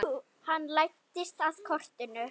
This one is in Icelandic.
Hann læddist að kortinu.